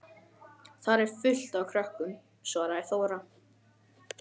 Þar er fullt af krökkum, svaraði Þóra.